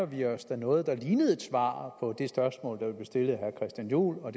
vi os da noget der ligner et svar på det spørgsmål der blev stillet af herre christian juhl og